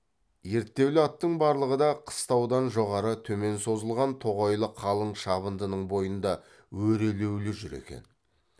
ерттеулі аттың барлығы да қыстаудан жоғары төмен созылған тоғайлы қалың шабындының бойында өрелеулі жүр екен